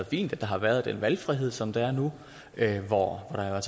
fint at der har været den valgfrihed som der er nu hvor der er